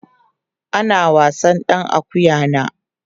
ana wasan ɗan akuƴan a